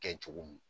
Kɛ cogo mun